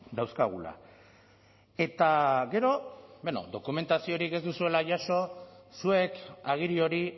dauzkagula eta gero bueno dokumentaziorik ez duzuela jaso zuek agiri hori